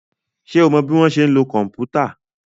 Ṣé o mọ bọ́ ṣe ń lo kòmpútà?